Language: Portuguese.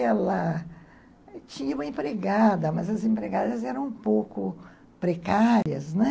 Ela tinha uma empregada, mas as empregadas eram um pouco precárias, né?